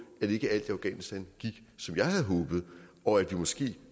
at ikke alt i afghanistan gik som jeg havde håbet og at vi måske